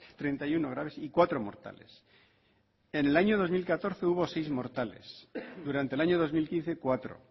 treinta y uno graves y cuatro mortales en el año dos mil catorce hubo seis mortales durante el año dos mil quince cuatro